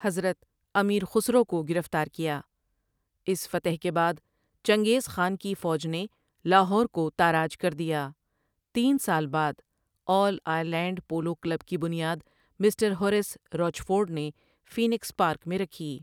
حضرت امیر خسرو کو گرفتار کیا اس فتح کے بعد چنگیز خان کی فوج نے لاہور کو تاراج کر دیا تین سال بعد آل آئرلینڈ پولو کلب کی بنیاد مسٹر ہوریس روچفورڈ نے فینکس پارک میں رکھی۔